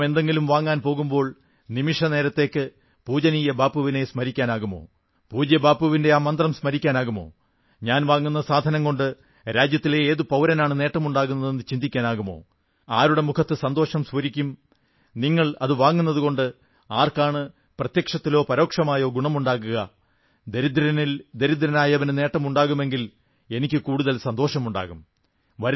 നാം എന്തെങ്കിലും വാങ്ങാൻ പോകുമ്പോൾ നിമിഷനേരത്തേക്ക് പൂജനീയ ബാപ്പുവിനെ സ്മരിക്കാനാകുമോ പൂജ്യ ബാപ്പുവിന്റെ ആ മന്ത്രം സ്മരിക്കാനാകുമോ ഞാൻ വാങ്ങുന്ന സാധനം കൊണ്ട് രാജ്യത്തിലെ ഏതു പൌരനാണ് നേട്ടമുണ്ടാകുന്നതെന്ന് ചിന്തിക്കാനാകുമോ ആരുടെ മുഖത്ത് സന്തോഷം സ്ഫുരിക്കും നിങ്ങൾ അതു വാങ്ങുന്നതുകൊണ്ട് ആർക്കാണ് പ്രത്യക്ഷത്തിലോ പരോക്ഷമായോ ഗുണമുണ്ടാകുക ദരിദ്രരിൽ ദരിദ്രനായവന് നേട്ടമുണ്ടാകുമെങ്കിൽ എനിക്ക് കൂടുതൽ സന്തോഷമുണ്ടാകും